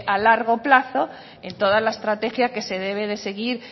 a largo plazo en toda la estrategia que se debe de seguir